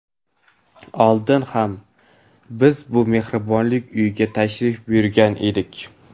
Oldin ham biz bu Mehribonlik uyiga tashrif buyurgan edik.